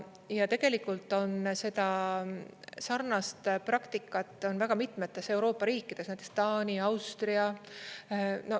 Ja tegelikult on sarnast praktikat väga mitmetes Euroopa riikides, näiteks Taani, Austria.